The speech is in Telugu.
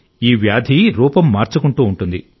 ఈ వ్యాధి రూపం మార్చుకుంటూ ఉంటుంది